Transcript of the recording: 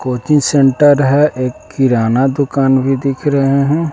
Coaching centre है एक किराना दुकान भी दिख रहे हैं।